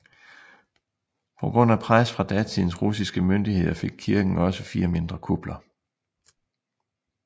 På grund af pres fra datidens russiske myndigheder fik kirken også fire mindre kupler